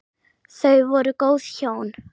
Þau voru góð hjón.